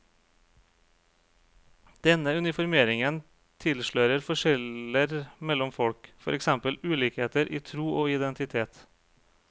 Denne uniformeringen tilslører forskjeller mellom folk, for eksempel ulikheter i tro og identitet.